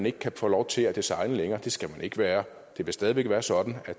ikke kan få lov til at designe længere det skal de ikke være det vil stadig væk være sådan at